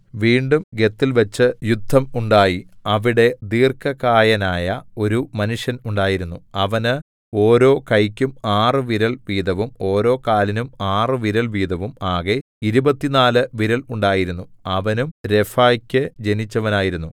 വീണ്ടും ഗത്തിൽവെച്ചു യുദ്ധം ഉണ്ടായി അവിടെ ദീർഘകായനായ ഒരു മനുഷ്യൻ ഉണ്ടായിരുന്നു അവന് ഓരോ കൈക്കും ആറുവിരൽ വീതവും ഓരോ കാലിനും ആറ് വിരൽ വീതവും ആകെ ഇരുപത്തിനാല് വിരൽ ഉണ്ടായിരുന്നു അവനും രഫാക്കു ജനിച്ചവനായിരുന്നു